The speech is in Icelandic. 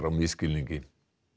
á misskilningi